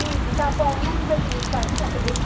ਨਹੀਂ ਹੈਗੀ ਤਾਂ ਆਪਾਂ ਉਹਨੂੰ ਵੀ ਤਾਂ use ਕਰ ਹੀ ਸਕਦੇ ਹਾਂ